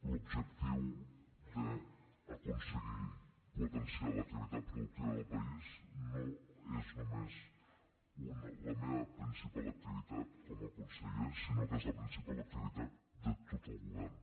l’objectiu d’aconseguir potenciar l’activitat productiva del país no és només la meva principal activitat com a conseller sinó que és la principal activitat de tot el govern